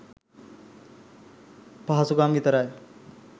පහසුකම් විතරයි.